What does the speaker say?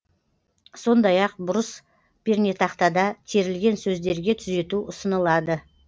сондай ақ бұрыс пернетақтада терілген сөздерге түзету ұсынылады